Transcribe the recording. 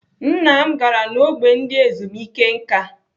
Nna m gara n'ógbè ndị ezumike nká.